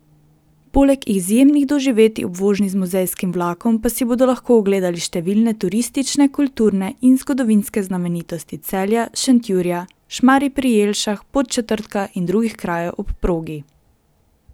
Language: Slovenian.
Poleg izjemnih doživetij ob vožnji z muzejskim vlakom pa si bodo lahko ogledali številne turistične, kulturne in zgodovinske znamenitosti Celja, Šentjurja, Šmarij pri Jelšah, Podčetrtka in drugih krajev ob progi.